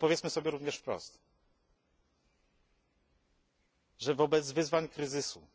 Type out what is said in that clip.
Powiedzmy sobie jednak również wprost, że wobec wyzwań kryzysu,